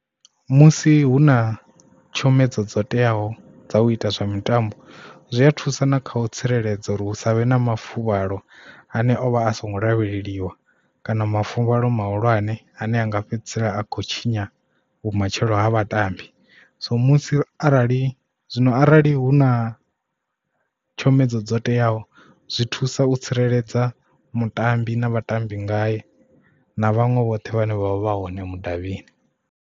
Musi hu na tshomedzo dzo teaho dza u ita zwa mitambo zwi a thusa na kha u tsireledza uri hu savhe na mafuvhalo ane o vha a songo lavheleliwa kana mafuvhalo mahulwane ane anga fhedzisela a khou tshinya vhumatshelo ha vhatambi so musi arali zwino arali hu na tshomedzo dzo teaho zwi thusa u tsireledza mutambi na vhatambi ngae na vhaṅwe vhoṱhe vhane vha vha hone mudavhini.